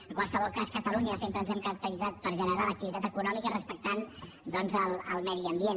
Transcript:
en qualsevol cas a catalunya sempre ens hem caracteritzat per generar l’activitat econòmica respectant doncs el medi ambient